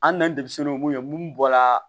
An nanen n'o ye mun ye mun bɔra